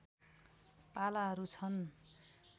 पालाहरू छन्